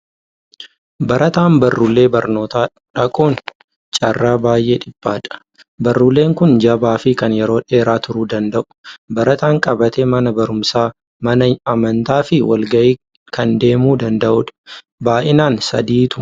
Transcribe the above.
Barataan baruulee barnootaa dhaquun carraa baay'ee dhiphaadha. Baruuleen kun jabaa fi kan yeroo dheeraa turuu danda'u, barataan qabatee mana barumsaa, mana amantaa fi wal ga'ii kan adeemuu danda'udha. Baay'inaan sadiitu mul'ata.